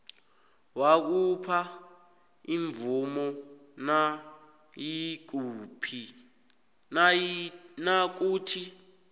wakhupha imvumo nayikuthi